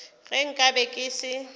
ge nka be ke se